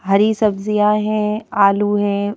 हरी सब्जियां हैं आलू हैं।